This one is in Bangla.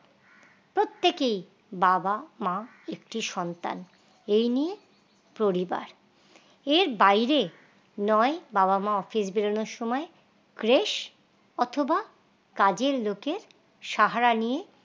প্রত্যেকেই বাবা মা একটি সন্তান এই নিয়ে পরিবার এর বাইরে নয় বাবা-মা office বেরোনোর সময় creche অথবা কাজের লোকের সাহারা নিয়ে